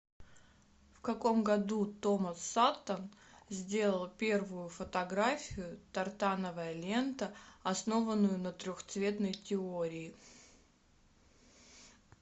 в каком году томас саттон сделал первую фотографию тартановая лента основанную на трехцветной теории